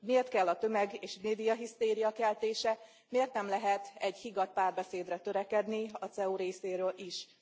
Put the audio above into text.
Miért kell a tömeg és médiahisztéria keltése, miért nem lehet egy higgadt párbeszédre törekedni a CEU részéről is?